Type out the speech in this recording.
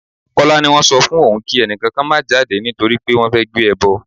Kọ́lá ni wọ́n sọ fún òun kí ẹni kankan má jáde nítorí pé wọ́n fẹ́ gbé ẹbọ.